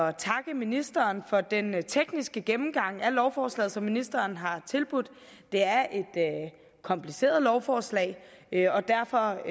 at takke ministeren for den tekniske gennemgang af lovforslaget som ministeren har tilbudt det er et kompliceret lovforslag og derfor